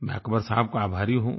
मैं अक़बर साहब का आभारी हूँ